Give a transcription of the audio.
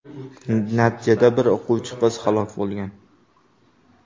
Natijada bir o‘quvchi qiz halok bo‘lgan.